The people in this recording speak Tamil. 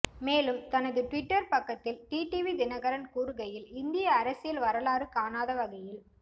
மேலும் தனது ட்விட்டர் பக்கத்தில் டிடிவி தினகரன் கூறுகையில் இந்திய அரசியல் வரலாறு காணாத வகையில்